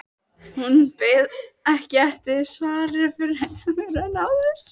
Hún beið ekki eftir svari fremur en áður.